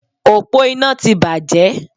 Òpó iná ti bàjẹ́